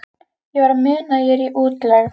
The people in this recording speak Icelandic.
Ég verð að muna að ég er í útlegð.